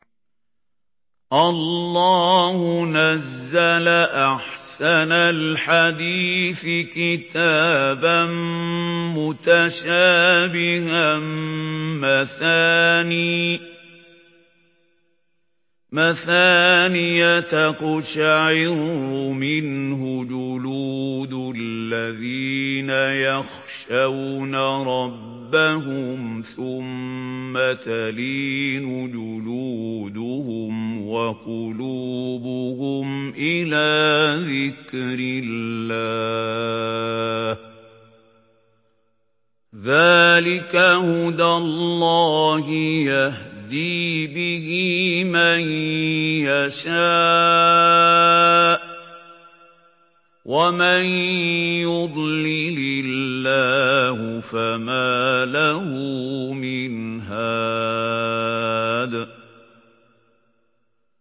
اللَّهُ نَزَّلَ أَحْسَنَ الْحَدِيثِ كِتَابًا مُّتَشَابِهًا مَّثَانِيَ تَقْشَعِرُّ مِنْهُ جُلُودُ الَّذِينَ يَخْشَوْنَ رَبَّهُمْ ثُمَّ تَلِينُ جُلُودُهُمْ وَقُلُوبُهُمْ إِلَىٰ ذِكْرِ اللَّهِ ۚ ذَٰلِكَ هُدَى اللَّهِ يَهْدِي بِهِ مَن يَشَاءُ ۚ وَمَن يُضْلِلِ اللَّهُ فَمَا لَهُ مِنْ هَادٍ